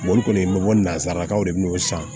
Boli kɔni n bɛ bɔ nanzarakanw de n'o san